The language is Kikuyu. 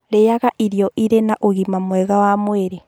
Rĩaga irio iria irĩ na ũgima mwega wa mwĩrĩ.